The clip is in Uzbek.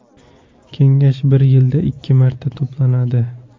Kengash bir yilda ikki marta to‘planadi.